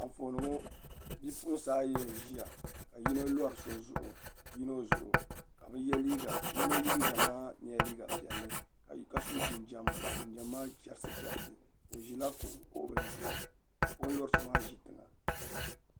Anfooni ŋo bipuɣunsi ayi n ʒiya ka yino lori yino zuɣu ka yino liiga maa nyɛla liiga piɛlli ka so jinjɛm ka jinjɛm maa chɛrisi chɛrisi o ʒila kuɣu bili zuɣu ka o ni lori so maa ʒi tiŋa